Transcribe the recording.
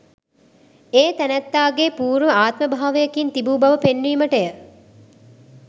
ඒ තැනැත්තාගේ පූර්ව ආත්මභාවයකින් තිබූ බව පෙන්වීමටය.